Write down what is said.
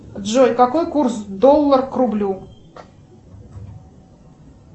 джой какой курс доллар к рублю